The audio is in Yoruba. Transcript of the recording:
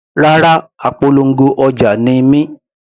Rárá, apolongo ọjà ni mí.